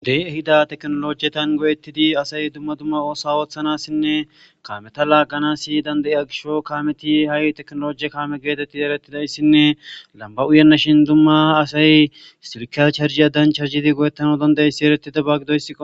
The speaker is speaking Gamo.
Wode ehido tekenolojetun asayi go'etidi dumma dumma osuwaa othanasine kameta laganasi danidayido gishawu ha wode tekenoloje gettetidi eretida issino lamiba uyena shin dumma dumma asay silkya chargiyadan charjidi go'etanawu danidayido issiba giddo.